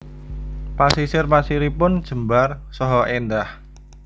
Pasisir pasiripun jembar saha éndah